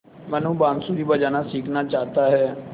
मनु बाँसुरी बजाना सीखना चाहता है